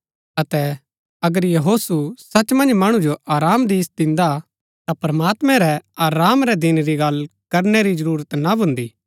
अतै अगर यहोशु सच मन्ज मणु जो आरामा दी दिन्दा ता प्रमात्मैं रै आराम रै दिन री गल्ल करनै री जरूरत ना भून्दी